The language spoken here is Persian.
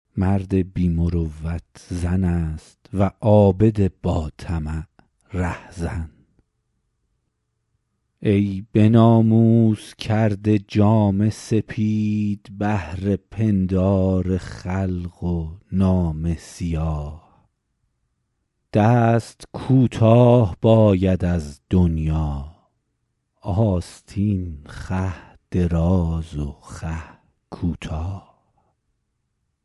مرد بی مروت زن است و عابد با طمع رهزن ای به ناموس کرده جامه سپید بهر پندار خلق و نامه سیاه دست کوتاه باید از دنیا آستین خوه دراز و خوه کوتاه